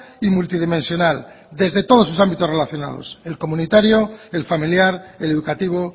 y multidimensional desde todos sus ámbitos relacionados el comunitario el familiar el educativo